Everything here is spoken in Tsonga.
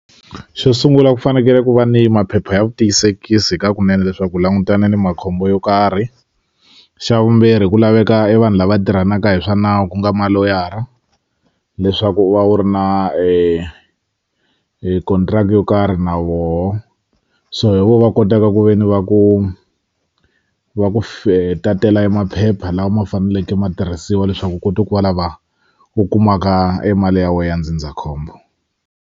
Xo sungula ku fanekele ku va ni maphepha ya vutiyisekisi hi ka kunene leswaku u langutane ni makhombo yo karhi xa vumbirhi ku laveka i vanhu lava tirhanaka hi swa nawu ku nga maloyara leswaku u va u ri na hi contract yo karhi na woho so hi vo va kotaka ku ve ni va ku va ku tatela e maphepha lawa ma faneleke matirhisiwa leswaku u kota ku va lava u kumaka emali ya we ya ndzindzakhombo.